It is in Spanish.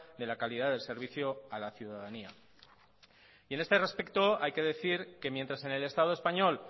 de la calidad del servicio a la ciudadanía y en este respecto hay que decir que mientras en el estado español